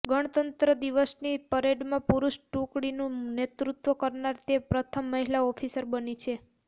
ગણતંત્ર દિવસની પરેડમાં પુરુષ ટુકડીનું નેતૃત્વ કરનાર તે પ્રથમ મહિલા ઓફિસર બની છે